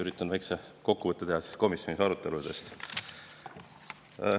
Üritan teha väikese kokkuvõtte komisjoni aruteludest.